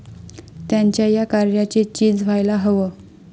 त्यांच्या या कार्याचे चीज व्हायला हवं.